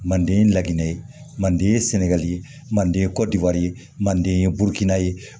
Manden laginɛ ye manden ye sɛnɛgali ye manden ye kɔdiwari ye manden ye burukina ye